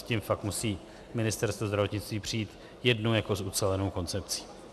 S tím fakt musí Ministerstvo zdravotnictví přijít jednou jako s ucelenou koncepcí.